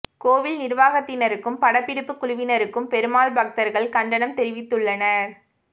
கோயில் நிர்வாகத்தினருக்கும் படப்பிடிப்பு குழுவினருக்கும் பெருமாள் பக்தர்கள் கண்டனம் தெரிவித்துள்ளனர்